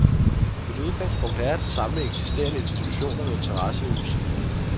Mit udgangspunkt er at samle eksisterende institutioner med interesse i musikken.